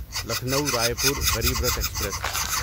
Lucknow Raipur Garib Rath express